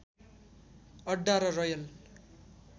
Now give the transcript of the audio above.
अड्डा र रयल